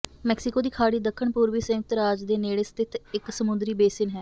Mexico ਦੀ ਖਾੜੀ ਦੱਖਣ ਪੂਰਬੀ ਸੰਯੁਕਤ ਰਾਜ ਦੇ ਨੇੜੇ ਸਥਿਤ ਇਕ ਸਮੁੰਦਰੀ ਬੇਸਿਨ ਹੈ